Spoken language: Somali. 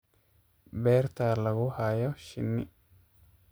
Beerta lagu hayo shinni.